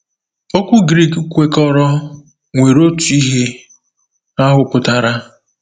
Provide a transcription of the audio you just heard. Okwu Greek kwekọrọ nwere otu ihe ahụ pụtara.